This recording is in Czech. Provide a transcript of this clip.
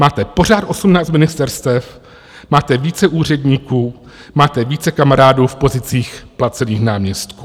Máte pořád 18 ministerstev, máte více úředníků, máte více kamarádů v pozicích placených náměstků.